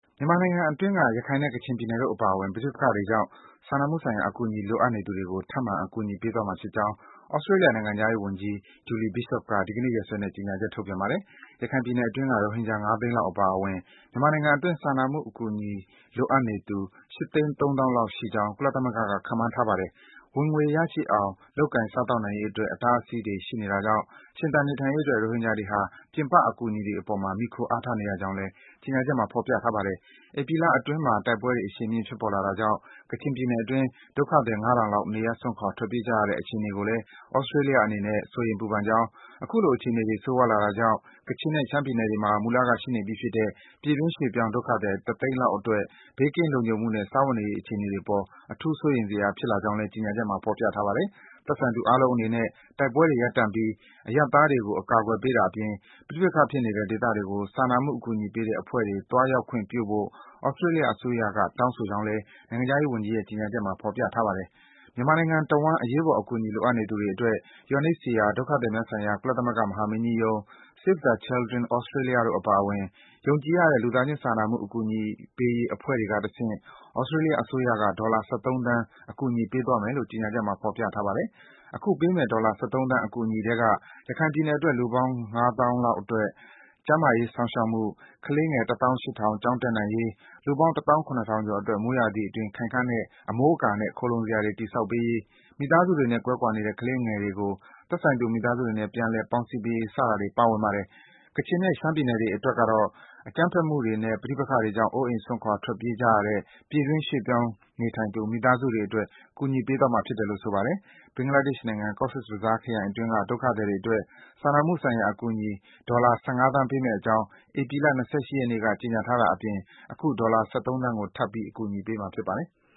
မြန်မာနိုင်ငံအတွင်းက ရခိုင်နဲ့ ကချင်ပြည်နယ်တို့ အပါအဝင် ပဋိပက္ခတွေကြောင့် စာနာမှုဆိုင်ရာ အကူအညီ လိုအပ်နေသူတွေကို ထပ်မံ အကူအညီပေးသွားမှာဖြစ်ကြောင်း သြစတေးလျ နိုင်ငံခြားရေးဝန်ကြီး Julie Bishop က ဒီကနေ့ ရက်စွဲနဲ့ ကြေညာချက် ထုတ်ပြန်လိုက်ပါတယ်။ ရခိုင်ပြည်နယ်အတွင်းက ရိုဟင်ဂျာ ၅ သိန်းလောက် အပါအဝင် မြန်မာနိုင်ငံအတွင်း စာနာမှုအကူအညီ လိုအပ်နေသူ ၈ သိန်း ၃ သောင်းလောက်ရှိကြောင်း ကုလသမဂ္ဂက ခန့်မှန်းထားပါတယ်။ ဝင်ငွေရရှိအောင် လုပ်ကိုင်စားသောက်နိုင်ရေးအတွက် အတားအဆီးတွေ ရှိနေတာကြောင့် ရှင်သန် နေထိုင်ရေးအတွက် ရိုဟင်ဂျာတွေဟာ ပြင်ပ အကူအညီတွေအပေါ် မှီခိုအားထားနေရကြောင်းလည်း ကြေညာချက်မှာ ဖော်ပြထားပါတယ်။ ဧပြီလအတွင်းမှာ တိုက်ပွဲတွေ အရှိန်မြင့် ဖြစ်ပေါ်လာတာကြောင့် ကချင်ပြည်နယ်အတွင်း ဒုက္ခသည် ၅ ထောင်လောက် နေရပ်စွန့်ခွာ ထွက်ပြေး ခဲ့ကြရတဲ့ အခြေအနေကိုလည်း သြစတေးလျအနေနဲ့ စိုးရိမ်ပူပန်ကြောင်း၊ အခုလို အခြေအနေတွေ ဆိုးရွားလာနေတာကြောင့် ကချင်နဲ့ ရှမ်းပြည်နယ်တွေမှာ မူလက ရှိနေပြီးဖြစ်တဲ့ ပြည်တွင်း ရွေ့ပြောင်း ဒုက္ခသည် တသိန်းလောက်အတွက် ဘေးကင်း လုံခြုံမှုနဲ့ စားဝတ်နေရေး အခြေအနေတွေအပေါ် အထူး စိုးရိမ်စရာ ဖြစ်လာနေကြောင်းလည်း ကြေညာချက်မှာ ဖော်ပြထားပါတယ်။ သက်ဆိုင်သူ အားလုံးအနေနဲ့ တိုက်ပွဲတွေ ရပ်တန့်ပြီး အရပ်သားတွေကို အကာကွယ်ပေးတာအပြင် ပဋိပက္ခဖြစ်နေတဲ့ ဒေသတွေကို စာနာမှု အကူအညီပေးတဲ့ အဖွဲ့တွေ သွားရောက်ခွင့် ပြုဖို့ သြစတေးလျ အစိုးရက တောင်းဆိုကြောင်းလည်း နိုင်ငံခြားရေးဝန်ကြီးရဲ့ ကြေညာချက်မှာ ဖော်ပြထားပါတယ်။ မြန်မာနိုင်ငံတဝှမ်း အရေးပေါ် အကူအညီ လိုအပ်နေသူူတွေအတွက် UNHCR ဒုက္ခသည်များဆိုင်ရာ ကုလသမဂ္ဂမဟာမင်းကြီးရုံး၊ Save the Children Australia တို့အပါအဝင် ယုံကြည်ရတဲ့ လူသားချင်း စာနာမှုအကူအညီပေးရေး အဖွဲ့အစည်းတွေကတဆင့် သြစတေးလျ အစိုးရက ဒေါ်လာ ၁၃ သန်း အကူအညီပေးသွားမယ်လို့ ကြေညာချက်မှာ ဖော်ပြထားပါတယ်။ အခုပေးမယ့် ဒေါ်လာ ၁၃ သန်း အကူအညီထဲက - ရခိုင်ပြည်နယ်အတွက် လူပေါင်း ၅ သောင်းအတွက် ကျန်းမာရေး စောင့်ရှောက်မှု၊ ကလေးငယ် ၁ သောင်း ၈ ထောင် ကျောင်းတက်နိုင်ရေး၊ လူပေါင်း ၁ သောင်း ၇ ထောင်ကျော်အတွက် မိုးရာသီအတွင်း ခိုင်ခန့်တဲ့ အမိုးအကာနဲ့ ခိုလှုံစရာ တည်ဆောက်ပေးရေး၊ မိသားစုတွေနဲ့ ကွဲကွာနေတဲ့ ကလေးငယ်တွေကို သက်ဆိုင်ရာ သူတို့ မိသားစုတွေနဲ့ ပြန်လည် ပေါင်းစည်းပေးရေး စတာတွေ ပါဝင်ပါတယ်။ ကချင်နဲ့ ရှမ်းပြည်နယ်တွေ အတွက်ကတော့ - အကြမ်းဖက်မှုတွေနဲ့ ပဋိပက္ခတွေကြောင့် အိုးအိမ် စွန့်ခွာ ထွက်ပြေးကြရတဲ့ ပြည်တွင်း ရွေ့ပြောင်းနေထိုင်သူ မိသားစုတွေအတွက် အကူအညီပေးသွားမယ်လို့ ဆိုပါတယ်။ ဘင်္ဂလားဒေ့ရှ်နိုင်ငံ Cox’s Bazaar ခရိုင်အတွင်းက ဒုက္ခသည်တွေအတွက် စာမှုဆိုင်ရာ အကူအညီ ဒေါ်လာ ၁၅ သန်းပေးမယ့်အကြောင်း ဧပြီလ ၂၈ ရက်နေ့က ကြေညာထားတာအပြင် အခု ဒေါ်လာ ၁၃ သန်းကို ထပ်ပြီး ကူညီပေးမှာ ဖြစ်ပါတယ်။